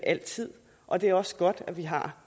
altid og det er også godt at vi har